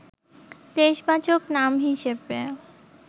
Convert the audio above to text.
দেশবাচক নাম হিসেবে